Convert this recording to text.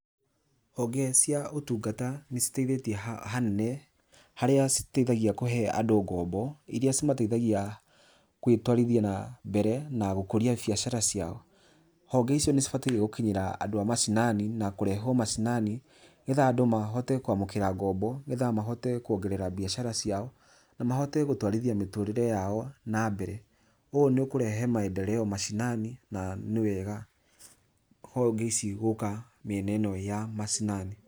Honge cia ũtungata nĩ citeithĩtie hanene, harĩa citeithagia kũhe andũ ngombo, iria cimateithagia gũtwarithia nambere na gũkũria biacara ciao. Honge icio nĩcibataire gũkinyĩra andũ a macinani, na kũrehwo macinani, nĩgetha andũ mahote kwamũkĩra ngombo, nĩgetha mahote kuongerera biacara ciao, na mahote gũtwarithia mĩtũũrĩre yao nambere. Ũũ nĩ ũkũrehe maendeleo macinani, na nĩ wega honge ici gũka mĩena ĩno ya macinani.